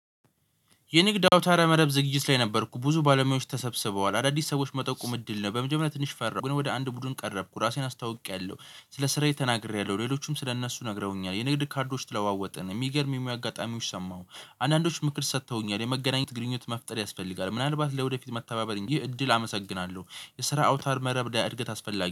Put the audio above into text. የንግድ አውታረ መረብ ዝግጅት ላይ ነበርኩ ብዙ ባለሙያዎች ተሰብስበዋል አዳዲስ ሰዎች መጠቁም እድል ነው። በመጀመሪያ ትንሽ ፈራሁ ግን ወደ አንድ ቡድን ቀረብኩ ራሴን አስታውቄያለሁ። ስለ ስራዬ ተናግሬያለሁ ሌሎችም ስለ እነሱ ነግረውኛል የንግድ ካርዶች ተለዋወጠን የሚገርም የሙያ አጋጣሚዎች ሰማሁ። አንዳንዶች ምክር ሰጥተውኛል የመገናኘት ግንኙነት መፍጠር ያስፈልጋል ምናልባት ለወደፊት መተባበር ይህ እድል አመሰግናለሁ። የስራ አውታረ መረብ ለእድገት አስፈላጊ